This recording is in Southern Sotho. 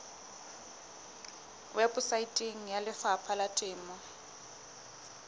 weposaeteng ya lefapha la temo